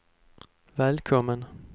välkommen